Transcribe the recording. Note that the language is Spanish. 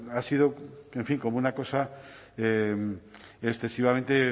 ha sido en fin como una cosa excesivamente